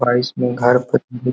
price में घर --